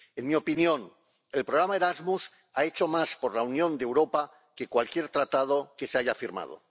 En mi opinión, el programa Erasmus ha hecho más por la unión de Europa que cualquier Tratado que se haya firmado.